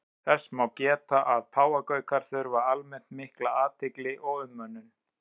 Þess má geta að páfagaukar þurfa almennt mikla athygli og umönnun.